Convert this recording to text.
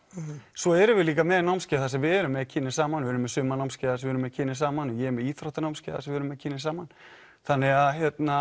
svo erum við líka með námskeið þar sem við erum með kynin saman erum með sumarnámskeið þar sem við erum með kynin saman og ég er með íþróttanámskeið þar sem við erum með kynin saman þannig að